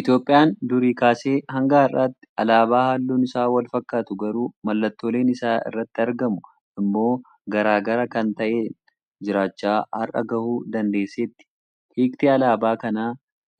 Itoophiyaan durii kaasee hanga har'aatti alaabaa halluun isaa walfakkatu garuu mallattooleen isa irratti argamu immoo gara gara kan ta'een jiraachaa har'a gahuu dandeesseetti. Hiikti alaabaa kana